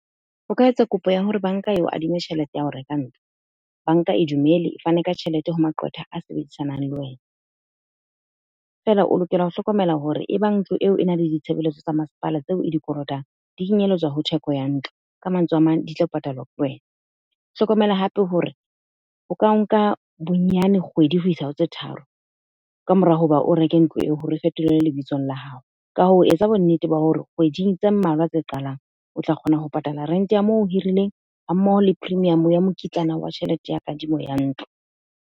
O ka etsa kopo ya hore Bank-a eo adime tjhelete ya ho reka ntlo. Bank-a e dumele, e fane ka tjhelete ho maqwetha a sebedisanang le wena. Feela o lokela ho hlokomela hore, e bang ntlo eo e na le ditshebeletso tsa masepala tseo e dikolotong. Di kenyelletswa ho theko ya ntlo. Ka mantswe a mang, di tla patalwa ke wena. Hlokomela hape hore, ho ka nka bonyane kgwedi ho isa ho tse tharo. Ka mora hoba o reke ntlo eo, hore re fetolele lebitsong la hao. Ka ho etsa bonnete ba hore kgweding tse mmalwa tse qalang, o tla kgona ho patala rent-e ya moo o hirileng, ha mmoho le premium ya mokitlana wa tjhelete ya kadimo ya ntlo.